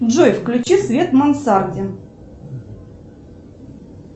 джой включи свет в мансарде